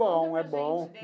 Bom, é bom.